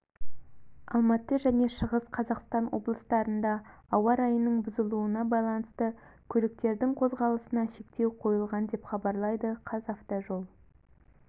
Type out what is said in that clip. алматы және шығыс қазақстан облыстарында ауа райының бұзылуына байланысты көліктердің қозғалысына шектеу қойылған деп хабарлайды қазавтожол